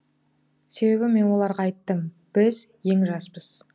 себебі мен оларға айттым біз ең жаспыз